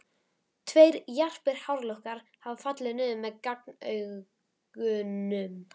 Tveir jarpir hárlokkar hafa fallið niður með gagnaugunum.